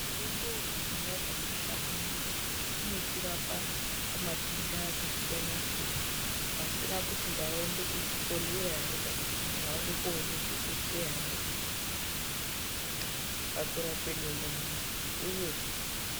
Mitombo yekudhaya yakakosha maningi ngokuti inotorapa matenda akasiyana -siyana asina kuti ndaenda kuzvibhedhleya ere kana kuti ndaenda koona dhokodheya ere pakurapwe denda rangu uye.